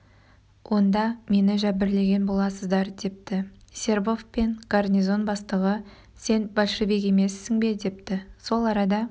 онда мені жәбірлеген боласыздар депті сербов пен гарнизон бастығы сен большевик емессің бе депті сол арада